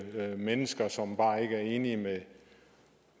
mennesker som bare ikke er enige med